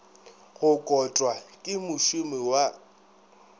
go kotwa ke mošomi wa